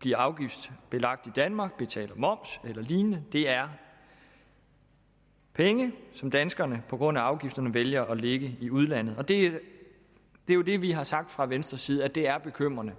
bliver afgiftsbelagt danmark bliver betalt moms af eller lignende det er penge som danskerne på grund af afgifterne vælger at lægge i udlandet det er jo det vi har sagt fra venstres side altså at det er bekymrende